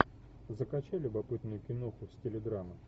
закачай любопытную киноху в стиле драма